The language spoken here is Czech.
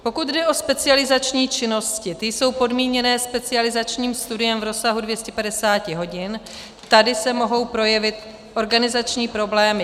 Pokud jde o specializační činnosti, ty jsou podmíněné specializačním studem v rozsahu 250 hodin, tady se mohou projevit organizační problémy.